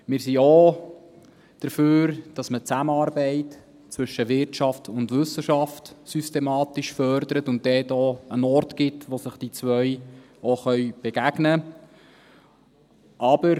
Wir sind auch dafür, dass man die Zusammenarbeit zwischen Wirtschaft und Wissenschaft systematisch fördert und dort einen Ort schafft, wo sich die zwei begegnen können.